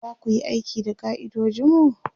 zaku Yi aiki da ka'idojinmu?